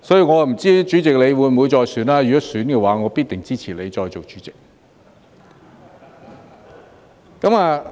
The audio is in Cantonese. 我不知道主席你會不會再參選，如果會的話，我必定支持你再做主席。